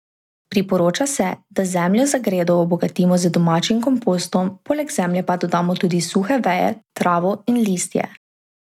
Priporoča se, da zemljo za gredo obogatimo z domačim kompostom, poleg zemlje pa dodamo tudi suhe veje, travo in listje.